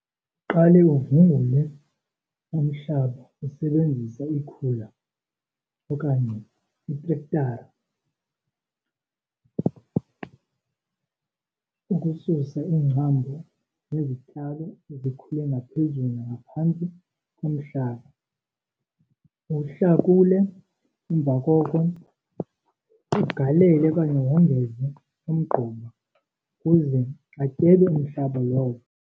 Uqale uvungule umhlaba usebenzisa ikhula okanye itrektara ukususa iingcambu nezityalo ezikhule ngaphezulu nangaphantsi komhlaba. Uwuhlakule, emva koko ugalele okanye wongeze umgquba ukuze atyebe umhlaba lowo.